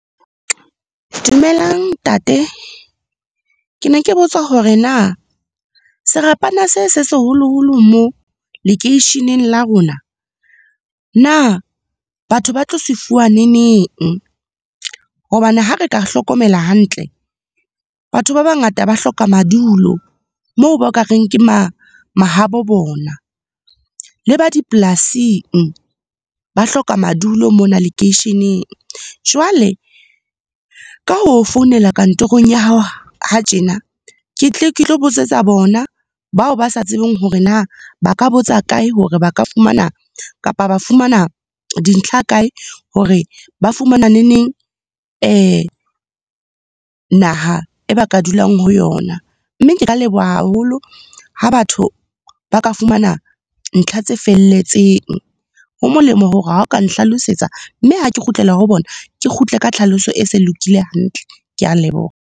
Dumelang ntate. Ke ne ke botsa hore na serapana se, se seholoholo moo lekeisheneng la rona, na batho ba tlo se fuwa ne neng? hobane ha re ka hlokomela hantle, batho ba bangata ba hloka madulo, moo ba ka reng ke mahabo bona. Le ba dipolasing, ba hloka madulo mona lekeisheneng. Jwale, ka ho founela kantorong ya hao ha tjena. Ke tle ke tlo botsetsa bona, bao ba sa tsebeng hore na ba ka botsa kae, hore ba ka fumana kapa ba fumana dintlha kae hore ba fumana ne neng naha e ba ka dulang ho yona. Mme, ke ka leboha haholo ha batho ba ka fumana ntlha tse felletseng. Ho molemo hore ha o ka nhlalosetsa, mme ha ke kgutlela ho bona, ke kgutle ka tlhaloso e se lokile hantle. Ke a leboha.